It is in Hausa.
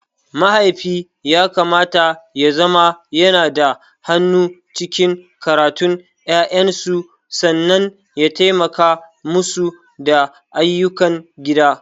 Mahaifi yakamata yazama yanada hannu cikin karatun ƴaƴansu sannan ya taimaka musu da ayyukan gida.